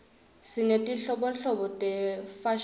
sinetinhlobonhlobo tefashini